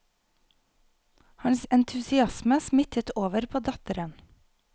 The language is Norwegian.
Hans entusiasme smittet over på datteren.